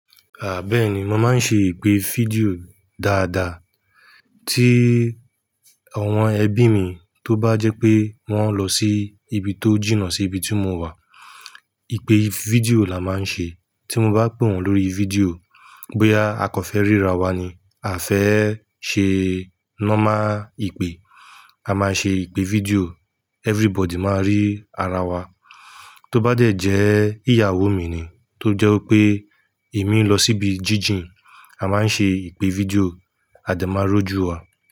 Àbẹ́ẹ̀ni, mo máa ń ṣe ìpè fídíò dáadáa. Tí àwọn ẹbí mi tó bá jẹ́ pé wọ́n lọ sí ibi tó jìnà sí ibi tí mo wà, ìpè fídíò la máa ń ṣe. Tí mo bá pè wọ́n lórí fídíò, bóyá a kò fẹ́ ríra wa ni, a fẹ́ ṣe nọ́mà ìpè, a máa ṣe ìpè fídíò, everybody máa rí ara wa. Tóbá dẹ̀ jẹ́ ìyàwó mi ni, tó jẹ́ pé èmi ń lọ síbi jíjìn, a máa ń ṣe ìpè fídíò, a de máa rújúwa.